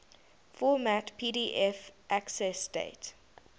format pdf accessdate